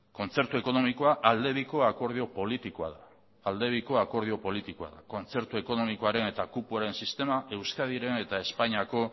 kontzertu ekonomikoa aldebiko akordio politikoa da aldebiko akordio politikoa da kontzertu ekonomikoaren eta kupoaren sistema euskadiren eta espainiako